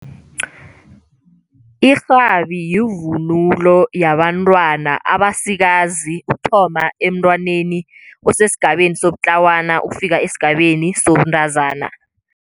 Irhabi yivunulo yabantwana abasikazi ukuthoma emntwaneni osesigabeni sobutlawana, ukufika esigabeni sobuntazana.